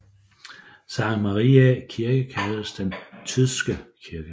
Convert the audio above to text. Sankt Mariæ kirke kaldtes den Tydske Kirke